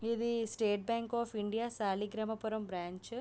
ఇది state bank of India Saligramapuram branch .